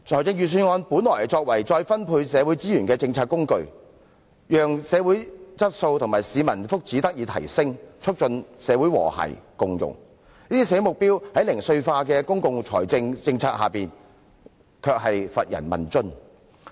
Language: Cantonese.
預算案本應作為再分配社會資源的政策工具，讓社會質素和市民福祉得以提升，促進社會和諧共融，但這些社會目標在零碎化的公共理財政策下，卻乏人問津。